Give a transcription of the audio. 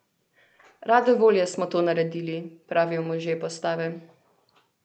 Rade volje smo to naredili, pravijo možje postave.